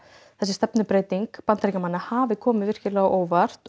þessi stefnubreyting Bandaríkjamanna hafi komið á óvart